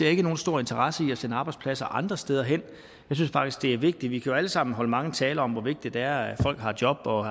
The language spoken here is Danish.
ikke nogen stor interesse i at sende arbejdspladser andre steder hen jeg synes faktisk det er vigtigt vi kan jo alle sammen holde mange taler om hvor vigtigt det er at folk har job og